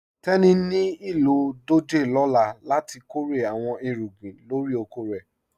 Tẹni ní ilọ dòjé lọ́là láti kọ́rè àwọn ìrúgbìn lórí òkò rẹ.